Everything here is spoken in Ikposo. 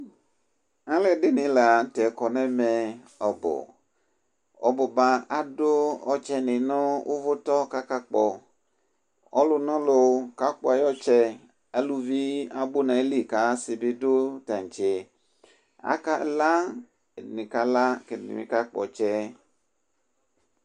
Alʋɛdɩnɩ la n'tɛ kɔ n'ɛmɛ ɔbʋ, ɔbʋba adʋ ɔtsɛnɩ nʋ ʋvʋtɔ k'aka kpɔ Ɔlʋnɔlʋ kakpɔ ay'ɔtsɛ Aluvi abʋ n'ayili k'asɩ bɩ dʋ tantse Aka la Ɛdɩnɩ ka la, k'ɛdɩnɩ ka kpɔ ɔtsɛ